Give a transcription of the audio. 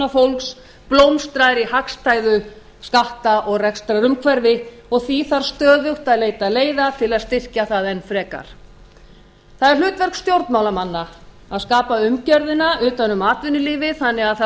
athafnafólks blómstrar í hagstæðu skatta og rekstrarumhverfi og því þarf stöðugt að leita leiða til að styrkja það enn frekar það er hlutverk stjórnmálamanna að skapa umgerðina utan um atvinnulífið þannig að það